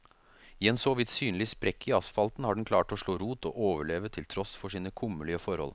I en såvidt synlig sprekk i asfalten har den klart å slå rot og overleve til tross for sine kummerlige forhold.